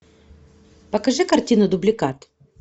покажи картину дубликат